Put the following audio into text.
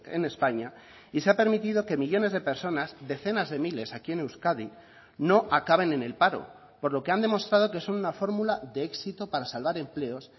en españa y se ha permitido que millónes de personas decenas de miles aquí en euskadi no acaben en el paro por lo que han demostrado que son una fórmula de éxito para salvar empleos